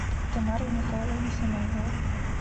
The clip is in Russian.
тамара михайловна самойлова